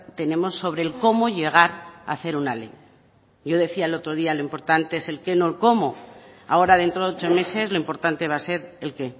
tenemos sobre el cómo llegar a hacer una ley yo decía el otro día lo importante es el qué no el cómo ahora dentro de ocho meses lo importante va a ser el qué